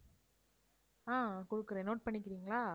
ஆஹ் கொடுக்கிறேன் note பண்ணிக்கிறீங்களா?